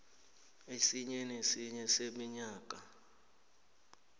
esinye nesinye seminyaka